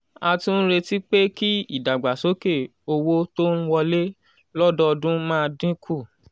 a tún ń retí pé kí ìdàgbàsókè owó tó ń wọlé lọ́dọọdún máa dín kù.